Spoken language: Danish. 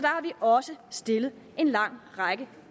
har vi også stillet en lang række